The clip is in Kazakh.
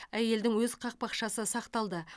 әйелдің өз қақпақшасы сақталды